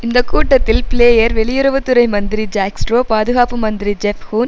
இந்த கூட்டத்தில் பிளேயர் வெளியுறவு துறை மந்திரி ஜாக் ஸ்ட்ரோ பாதுகாப்பு மந்திரி ஜெப் ஹூன்